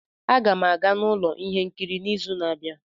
A ga m aga n'ụlọ ihe nkiri n'izu na-abịa